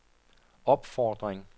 opfordring